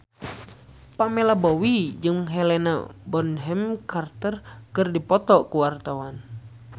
Pamela Bowie jeung Helena Bonham Carter keur dipoto ku wartawan